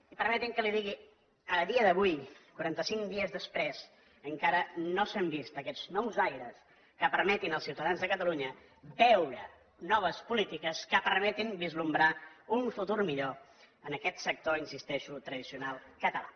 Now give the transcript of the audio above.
i permeti’m que li digui que a dia d’avui quarantacinc dies després encara no s’han vist aquests nous aires que permetin els ciutadans de catalunya veure noves polítiques que permetin albirar un futur millor en aquest sector hi insisteixo tradicional català